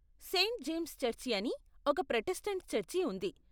Saint James church అని ఒక Protestant church ఉంది .